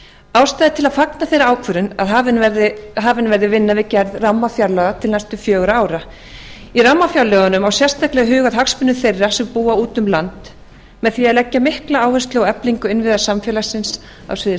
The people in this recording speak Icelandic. ástæða er til að fagna þeirri ákvörðun að hafin verði vinna við gerð rammafjárlaga til næstu fjögurra ára í rammafjárlögunum á sérstaklega að huga að hagsmunum þeirra sem búa úti um land með því að leggja mikla áherslu á eflingu innviða samfélagsins á sviði